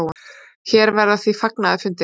Hér verða því fagnaðarfundir.